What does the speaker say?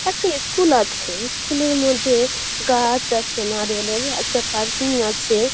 একটা ইস স্কুল আছে । ইস স্কুল -এর মধ্যে গাছ নারিয়েলের । একটা পার্কিং আছে-এ ।